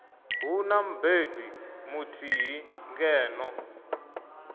hu na mubebi muthihi ngeno